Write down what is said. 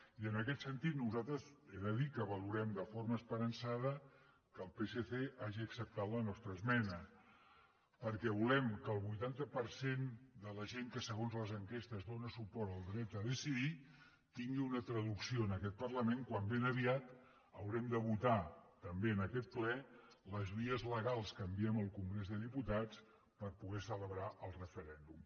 i en aquest sentit nosaltres he de dir que valorem de forma esperançada que el psc hagi acceptat la nostra esmena perquè volem que el vuitanta per cent de la gent que segons les enquestes dóna suport al dret a decidir tingui una traducció en aquest parlament quan ben aviat haurem de votar també en aquest ple les vies legals que enviem al congrés dels diputats per poder celebrar el referèndum